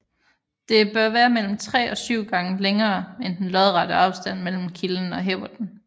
Det bør være mellem 3 og 7 gange længere end den lodrette afstand mellem kilden og hæverten